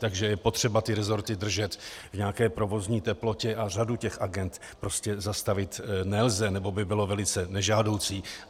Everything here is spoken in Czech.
Takže je potřeba ty resorty držet v nějaké provozní teplotě a řadu těch agend prostě zastavit nelze nebo by bylo velice nežádoucí.